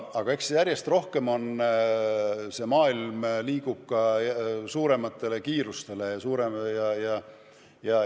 Aga eks järjest rohkem see maailm liigub ka suuremate kiiruste rakendamise poole.